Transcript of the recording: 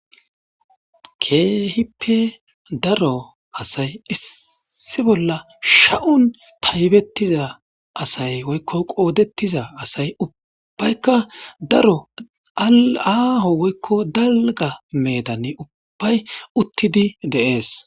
Keehipe daro asay issi bolla sha'un payidettiza asay woykko qoodettiza asay ubbaykka daro aaho woykko dalga meedani ubbay uttidi dees.